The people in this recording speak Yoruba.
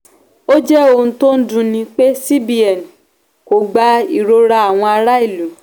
"ó jẹ ohun tí ó dunni pé cbn kò gba ìrora àwọn ará ìlú".